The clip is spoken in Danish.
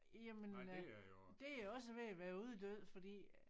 Jamen øh det er også ved at være uddød fordi